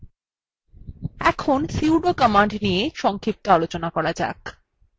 এখন sudo command নিয়ে সংক্ষিপ্ত আলোচনা করা যাক